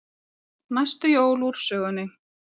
Næstu jól úr sögunni.